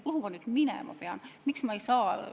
Kuhu ma nüüd minema pean?